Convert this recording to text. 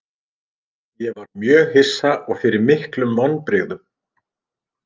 Ég var mjög hissa og fyrir miklum vonbrigðum.